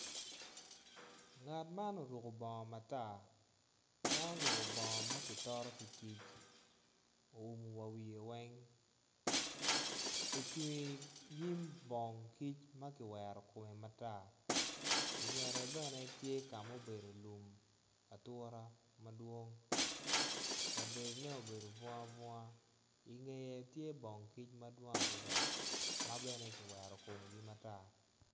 Ngat man oruku bongo matar en oruku bongo ma kitoto ki kic owumu wa wiye weny ocung inyim bong kic ma kiwero kume matar ingete bene tye ka obedo lum atura madwong kabedone obedo bunga bunga ingeye tye bong kic madwong adida ma bene kiwero komgi matar